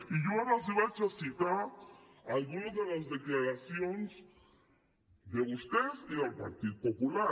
i jo ara els vaig a citar algunes de les declaracions de vostès i del partit popular